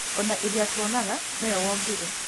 Ona iria tũtonaga nĩwe wombire